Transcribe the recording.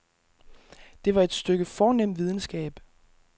Det var et stykke fornem videnskab.